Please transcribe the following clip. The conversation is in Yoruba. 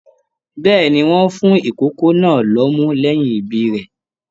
Bẹ́ẹ̀ni, wọn fún ikòkò náà l'ọmú lẹyìn ibí rẹ.